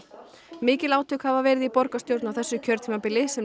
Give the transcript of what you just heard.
mikil átök hafa verið í borgarstjórn á þessu kjörtímabili sem